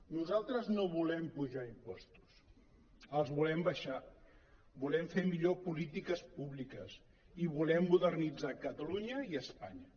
nosaltres no volem apujar im·postos els volem abaixar volem fer millor polítiques públiques i volem modernitzar catalunya i espanya